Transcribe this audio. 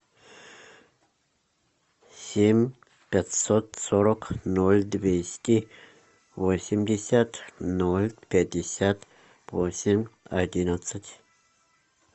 семь пятьсот сорок ноль двести восемьдесят ноль пятьдесят восемь одиннадцать